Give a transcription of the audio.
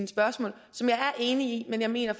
spørgsmål som jeg er enig i men jeg mener